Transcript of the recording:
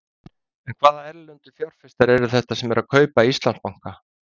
En hvaða erlendu fjárfestar eru þetta sem eru að kaupa Íslandsbanka?